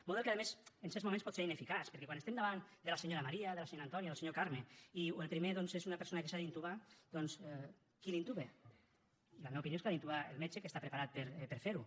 model que a més en certs moments pot ser ineficaç perquè quan estem davant de la senyora maria de la senyora antònia o de la senyora carme i el primer doncs és una persona que s’ha d’intubar qui l’intuba la meva opinió és que l’ha d’intubar el metge que està preparat per a fer ho